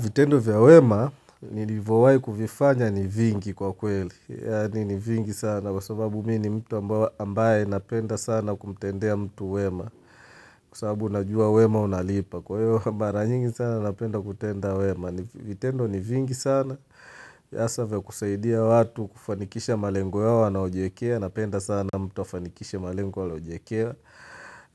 Vitendo vya wema, nilivyowahi kuvifanya ni vingi kwa kweli. Yaani ni vingi sana. Kwa sababu mimi ni mtu ambaye napenda sana kumtendea mtu wema. Kwa sababu najua wema unalipa. Kwa hivyo mara nyingi sana napenda kutenda wema. Vitendo ni vingi sana. Hasa za kusaidia watu, kufanikisha malengo yao wanaojiwekea. Napenda sana mtu afanikisha malengo waliojiekea.